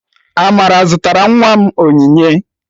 Amara zụtara nwa m onyinye.